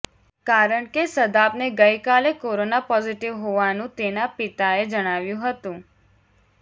કારણ કે સદાબને ગઈ કાલે કોરોના પોઝિટિવ હોવાનું તેના પિતાએ જણાવ્યું હતું